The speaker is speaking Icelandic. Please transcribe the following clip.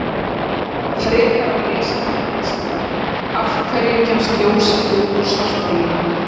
Frekara lesefni á Vísindavefnum: Af hverju kemst ljós ekki út úr svartholi?